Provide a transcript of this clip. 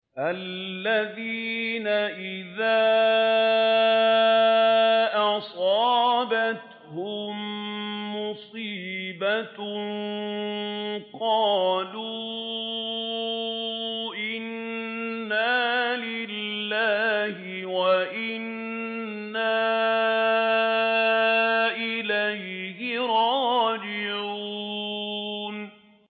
الَّذِينَ إِذَا أَصَابَتْهُم مُّصِيبَةٌ قَالُوا إِنَّا لِلَّهِ وَإِنَّا إِلَيْهِ رَاجِعُونَ